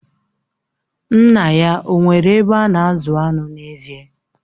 Nna ya o nwere ebe a na-azụ anụ n'ezie?